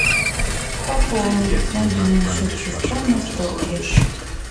пополнить мобильный счет сестра на сто рублей